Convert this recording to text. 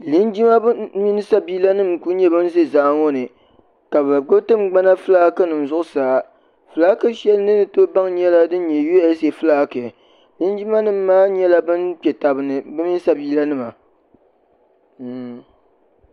linjima nim mini sabiila nim n ku nyɛ bin ʒɛ zaa ŋo ni ka bi gbubi tingbana fulaaki nim zuɣusaa fulaaki shɛli ni ni tooi baŋ nyɛla din nyɛ USA fulaaki linjima nim maa nyɛla bin kpɛ tabi ni bi mini sabiila nima